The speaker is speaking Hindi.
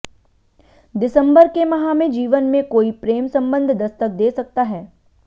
दिसम्बर के माह में जीवन में कोई प्रेम सम्बंध दस्तक दे सकता है